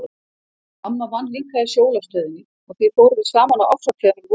Mamma vann líka í Sjólastöðinni og því fórum við saman á árshátíðina um vorið.